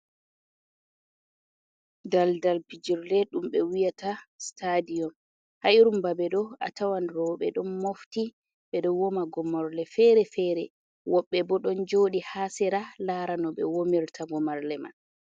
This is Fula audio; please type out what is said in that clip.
Dal dal pijurle ɗum ɓe wi yata sitadiyon, ha irum ba be ɗo atawan row ɓe ɗon mofti ɓe ɗon woma gomorle fere-fere, woɓɓe bo ɗon joɗi haa sira lara no ɓe womirta gomarle man.